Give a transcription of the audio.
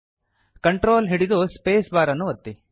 control ಹಿಡಿದುಸ್ಪೇಸ್ bar ಅನ್ನು ಒತ್ತಿ